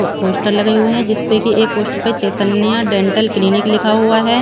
वो पोस्टर लगे हुए हैं जिसपे कि एक पोस्टर पे चैतन्या डेंटल क्लिनिक लिखा हुआ है।